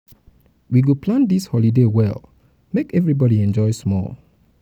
we go plan dis holiday well make everybodi enjoy small. everybodi enjoy small.